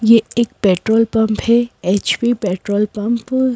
ये एक petrol pump है एच_पी पेट्रोल पंप --